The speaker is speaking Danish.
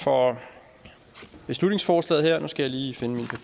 for beslutningsforslaget nu skal jeg lige finde